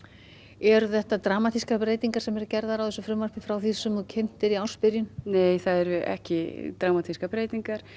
eru þetta dramatískar breytingar sem eru gerðar á þessu frumvarpi frá því sem þú kynntir í ársbyrjun nei það eru ekki dramatískar breytingar